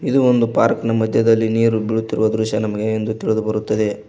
ಇದು ಒಂದು ಪಾರ್ಕ್ ಮದ್ಯದಲ್ಲಿ ನೀರು ಬೀಳುತ್ತಿರುವ ದೃಶ್ಯ ನಮಗೆ ತಿಳಿದು ಬರುತ್ತದೆ.